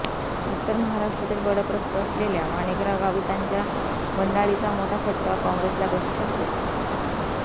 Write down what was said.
उत्तर महाराष्ट्रातील बडं प्रस्थ असलेल्या माणिकराव गावितांच्या बंडाळीचा मोठा फटका काँग्रेसला बसू शकतो